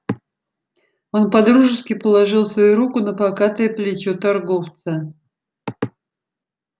он по-дружески положил свою руку на покатое плечо торговца